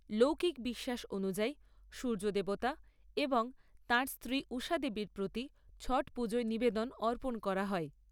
লৌকিক বিশ্বাস অনুযায়ী, সূর্য দেবতা এবং তাঁর স্ত্রী ঊষা দেবীর প্রতি, ছট পুজোয় নিবেদন অর্পণ করা হয়।